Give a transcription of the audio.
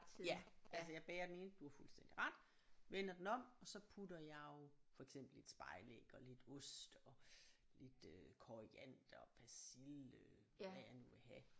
Ja altså jeg bager den ene du har fuldstændig ret vender den om og så putter jeg jo for eksempel et spejlæg og lidt ost og lidt øh koriander persille hvad jeg nu vil have